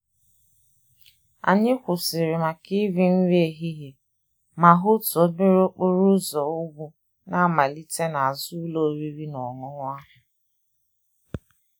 Anyị kwụsịrị maka iri nri ehihie ma hụ otu obere okporo ụzọ ugwu na-amalite n'azụ ụlọ oriri na ọṅụṅụ ahụ.